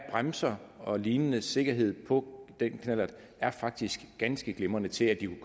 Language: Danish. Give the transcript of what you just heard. bremser og lignende sikkerhed på den knallert er faktisk ganske glimrende til at den